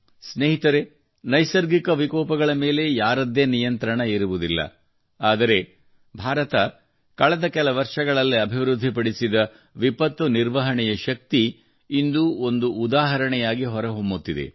ಸ್ನೇಹಿತರೇ ನೈಸರ್ಗಿಕ ವಿಕೋಪಗಳ ಮೇಲೆ ಯಾರದ್ದೇ ನಿಯಂತ್ರಣ ಇರುವುದಿಲ್ಲ ಆದರೆ ಭಾರತವು ಕಳೆದ ಕೆಲ ವರ್ಷಗಳಲ್ಲಿ ಅಭಿವೃದ್ಧಿಪಡಿಸಿದ ವಿಪತ್ತು ನಿರ್ವಹಣೆಯ ಶಕ್ತಿಯು ಇಂದು ಒಂದು ಉದಾಹರಣೆಯಾಗಿ ಹೊರಹೊಮ್ಮುತ್ತಿದೆ